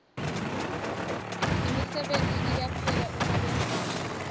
imisebenti iyaphela uma wehule